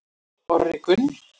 Orri Gunn